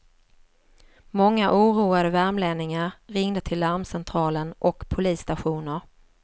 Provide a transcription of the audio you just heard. Många oroade värmlänningar ringde till larmcentralen och polisstationer.